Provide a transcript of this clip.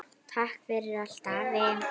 Takk fyrir allt afi.